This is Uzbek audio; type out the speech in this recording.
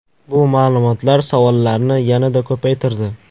Bu ma’lumotlar savollarni yanada ko‘paytirdi.